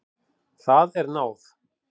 Það er náð.